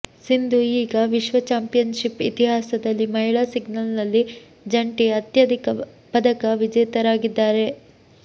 ಸಿಂಧು ಈಗ ವಿಶ್ವ ಚಾಂಪಿಯನ್ಶಿಪ್ ಇತಿಹಾಸದಲ್ಲಿ ಮಹಿಳಾ ಸಿಂಗಲ್ಸ್ನಲ್ಲಿ ಜಂಟಿ ಅತ್ಯಧಿಕ ಪದಕ ವಿಜೇತರಾಗಿದ್ದಾರೆ